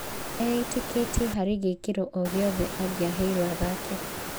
E-ĩtĩkĩtie harĩ gĩkĩro o gĩothe angĩaheirwo athake.